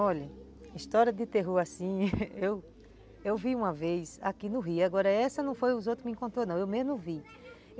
Olha, história de terror assim, eu vi uma vez aqui no rio, agora essa não foi os outros que me encontram não, eu mesmo vi.